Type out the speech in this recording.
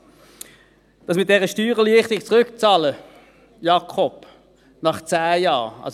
Was das mit der Rückzahlung dieser Steuererleichterung, Jakob Schwarz, nach 10 Jahren anbelangt: